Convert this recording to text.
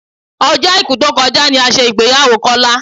Ọjọ́ Àìkú tó kọjá ni a ṣe ìgbéyàwó Kọ́lá